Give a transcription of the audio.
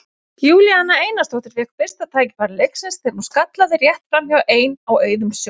Júlíana Einarsdóttir fékk fyrsta færi leiksins þegar hún skallaði rétt framhjá ein á auðum sjó.